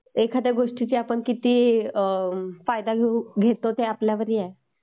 एखाद्या गोष्टीचा आपण किती फायदा घेतो हे आपल्यावरही आहे.